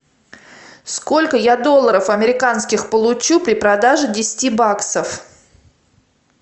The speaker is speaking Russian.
сколько я долларов американских получу при продаже десяти баксов